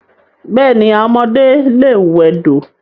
Bẹ́ẹ̀ni, àwọn ọmọdé lè wẹdò.